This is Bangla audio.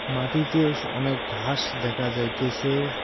মাটিতেস অনেক ঘাস দেখা যাইতেসে-এ।